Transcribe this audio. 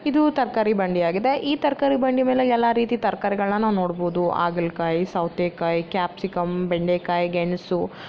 ಇದು ತರಕಾರಿ ಬಂಡಿಯಾಗಿದೆ ಈ ತರಕಾರಿ ಬಂಡಿಯ ಮೇಲೆ ಎಲ್ಲಾ ರೀತಿ ತರಕಾರಿಗಳನ್ನ ನಾವು ನೋಡಬಹುದು ಹಾಗಲ ಕಾಯಿ ಸೌತೆ ಕಾಯಿ ಕ್ಯಾಪ್ಸಿಕಂ ಬೆಂಡೆಕಾಯಿ ಗೆಣಸು --